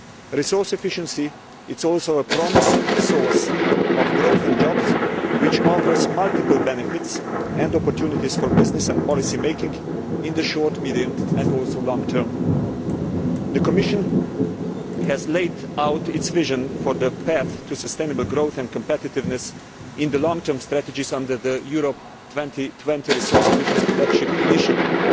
Resource efficiency is also a promising source of growth and jobs, which offers multiple benefits and opportunities for business and policy making in the short, medium and also long term. The Commission has laid out its vision for the path to sustainable growth and competitiveness in the long term strategies under the Europe 2020 resource efficiency flagship initiative,